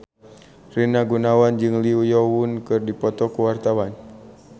Rina Gunawan jeung Lee Yo Won keur dipoto ku wartawan